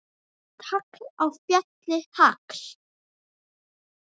Við tagl á fjalli hagl.